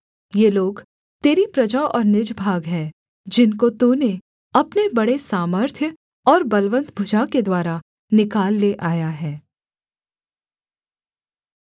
ये लोग तेरी प्रजा और निज भाग हैं जिनको तूने अपने बड़े सामर्थ्य और बलवन्त भुजा के द्वारा निकाल ले आया है